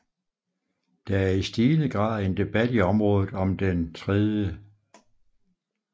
Der er i stigende grad en debat i området om Den 3